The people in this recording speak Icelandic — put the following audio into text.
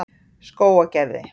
Skógargerði